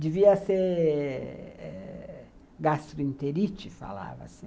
Devia ser eh gastroenterite, falava-se.